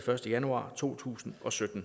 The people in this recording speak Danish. første januar to tusind og sytten